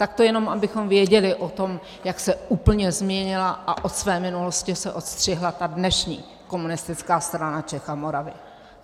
Tak to jenom abychom věděli o tom, jak se úplně změnila a od své minulosti se odstřihla ta dnešní Komunistická strana Čech a Moravy.